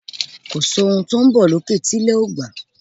Kòsí ohun tó n bọ̀ lókè tí ilẹ̀ ò gbà